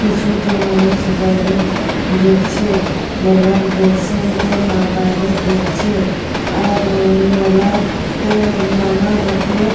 কিছুটি মানুষ বাইরে দেখছে মেলার দর্শনটি মা বাইরে দেখছে আর মেলার-আতে নানা রকমের--